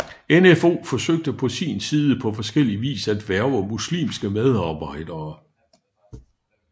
NfO forsøgte på sin side på forskellie vis at hverve muslimske medarbejdere